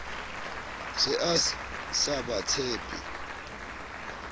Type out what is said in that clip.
se a sa ba tshepe